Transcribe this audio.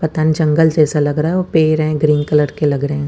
पता न जंगल जैसा लग रहा है पेड़ है ग्रीन कलर के लग रहे है।